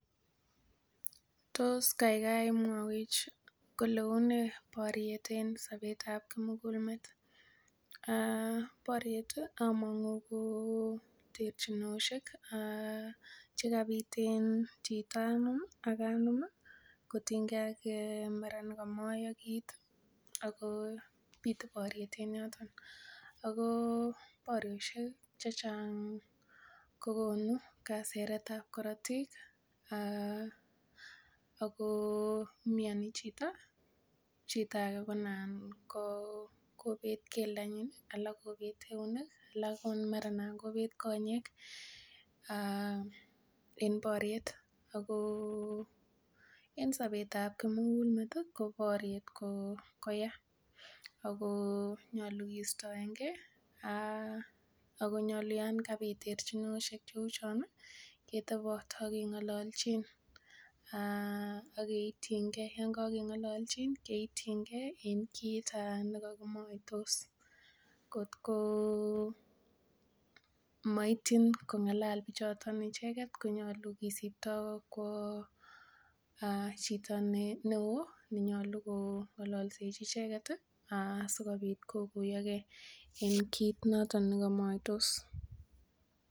Tos kaigai mwaiwech kole unee boriet eng sobetab kimugul met? Boriet among'u ko terchinosiek chakabit en chito anum ak anum kotiengee mara nekomoyo kit ako bitu boriet en yoton ako boriosiek chechang kokonu kaseret ab korotik ako mioni chito, chito age ko nan ko kobet keldonyin alak kobet eunek alak ko mara nan kobet konyek en boriet ako en sobetab kimugulmet ih ko boriet ko yaa ako nyolu kistoengee ako nyolu yan kabit terchinosiek cheu chon ih ketobot ak keng'ololchin ak keityigee yon kakeng'olochin keityigee en kit nekokimoitos kotko moityin kong'alal bichoton icheket konyolu kisipto kwo chito neoo nenyolu kong'ololsechi icheket sikobit kokuyogee en kit noton nekomoitos